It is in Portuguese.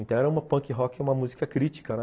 Então era uma punk rock, uma música crítica, né?